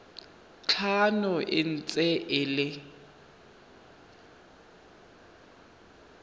tlhano e ntse e le